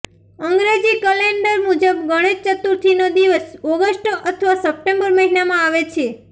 અંગ્રેજી કેલેન્ડર મુજબ ગણેશ ચતુર્થીનો દિવસ ઓગસ્ટ અથવા સપ્ટેમ્બર મહિનામાં આવે છે